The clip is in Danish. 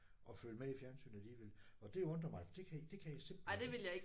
Og følge med i fjernsynet alligevel. Og det undrer mig for det det kan jeg simpelthen ikke